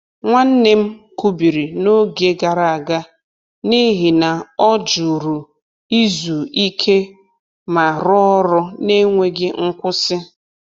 Nwanne m kubiri n’oge gara aga n’ihi na ọ jụru izu ike ma rụọ ọrụ n’enweghị nkwụsị.